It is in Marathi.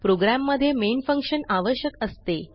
प्रोग्राम मध्ये मेन फंक्शन आवश्यक असते